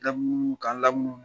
Lamunumunu k'an lamunumunu